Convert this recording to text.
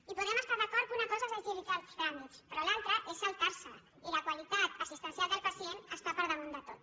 i podem estar d’acord que una cosa és agilitzar els trà·mits però l’altra és saltar·se’ls i la qualitat assistencial del pacient està per damunt de tot